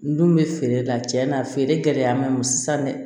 N dun bɛ feere la tiɲɛ na a feere gɛlɛya ma sa dɛ